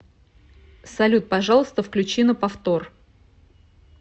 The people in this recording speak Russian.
салют пожалуйста включи на повтор